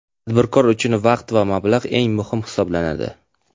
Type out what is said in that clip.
Tadbirkor uchun vaqt va mablag‘ eng muhim hisoblanadi.